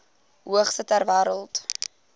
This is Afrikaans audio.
hoogste ter wêreld